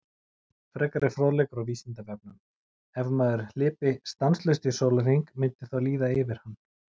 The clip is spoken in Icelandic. Frekari fróðleikur á Vísindavefnum: Ef maður hlypi stanslaust í sólarhring myndi þá líða yfir hann?